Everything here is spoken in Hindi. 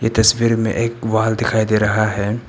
ए तस्वीर में एक वॉल दिखाई दे रहा है।